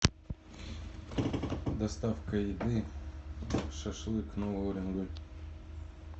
доставка еды шашлык новый уренгой